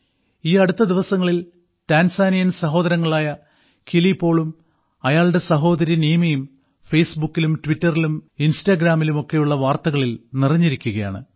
ഈയടുത്ത ദിവസങ്ങളിൽ ടാൻസാനിയൻ സഹോദരങ്ങളായ കിലി പോളും അയാളുടെ സഹോദരി നീമയും ഫേസ്ബുക്കിലും ട്വിറ്ററിലും ഇൻസ്റ്റാഗ്രാമിലുമൊക്കെയുള്ള വാർത്തകളിൽ നിറഞ്ഞിരിക്കുകയാണ്